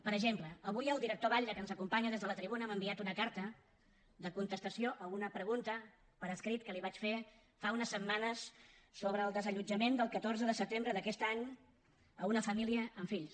per exemple avui el director batlle que ens acompanya des de la tribuna m’ha enviat una carta de contestació a una pregunta per escrit que li vaig fer fa unes setmanes sobre el desallotjament del catorze de setembre d’aquest any a una família amb fills